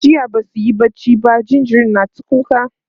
jiya Basu yi barci ba jinjirin na ta kuka